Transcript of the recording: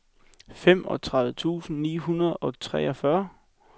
femogtredive tusind ni hundrede og treogfyrre